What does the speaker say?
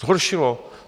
Zhoršilo?